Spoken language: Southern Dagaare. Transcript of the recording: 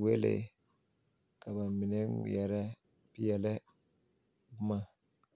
welee ka ba mine ngmɛrɛ peɛlɛ boma.